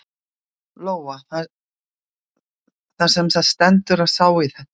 Lóa: Það semsagt stendur til að sá í þetta?